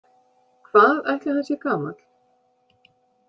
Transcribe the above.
Hvað ætli hann sé gamall?